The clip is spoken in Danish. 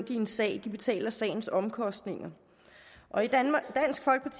i en sag betaler sagens omkostninger og